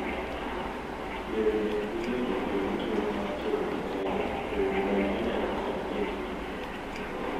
Yoregi ok bi miyo jopuonjre thuolo mar tiegruok kende to yudo lony manyalo konyogi engimagi.